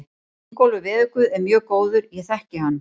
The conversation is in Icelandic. Ingólfur veðurguð er mjög góður, ég þekki hann.